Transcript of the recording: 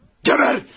Geber!